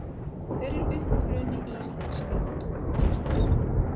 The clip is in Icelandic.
Hver er uppruni íslenska tungumálsins?